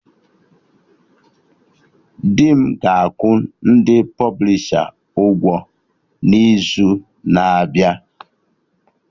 Dị m ga-akwụ ndị pọblisha ụgwọ n'izu na-abịa